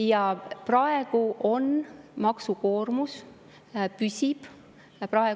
Ja praegu püsib maksukoormus alla 34%.